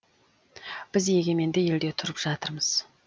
біз егеменді елде тұрып жатырмыз